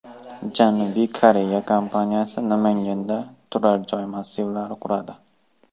Janubiy Koreya kompaniyasi Namanganda turar-joy massivlari quradi.